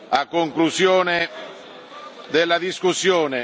a conclusione della discussione.